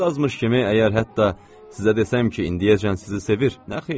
Bu da azmış kimi, əgər hətta sizə desəm ki, indiyəcən sizi sevir, nə xeyri?